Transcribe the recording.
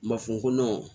Ma fɔ n ko